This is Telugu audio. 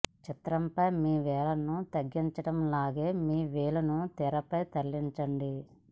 చిత్రంపై మీ వేళ్లను తగ్గించడం లాగా మీ వేళ్లను తెరపై తరలించండి